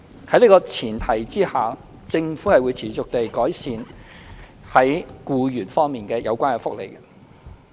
在這個前提之下，政府會持續地改善與僱員有關的福利。